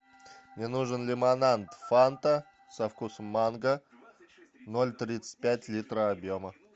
мне нужен лимонад фанта со вкусом манго ноль тридцать пять литра объема